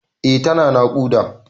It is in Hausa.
Eh tana naƙuda.